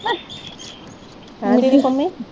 ਹੈਂ ਦੀਦੀ ਪੰਮੀ?